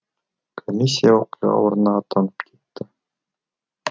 комиссия оқиға орнына аттанып кетті